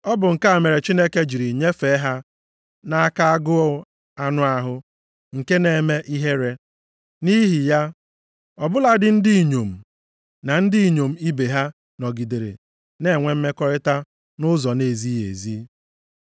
Ọ bụ nke a mere Chineke jiri nyefee ha nʼaka agụụ anụ ahụ nke na-eme ihere. Nʼihi ya, ọ bụladị ndị inyom na ndị inyom ibe ha nọgidere na-enwe mmekọrịta nʼụzọ na-ezighị ezi.